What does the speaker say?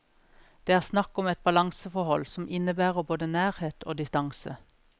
Det er snakk om et balanseforhold som innebærer både nærhet og distanse.